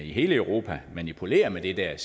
i hele europa manipulerer med det der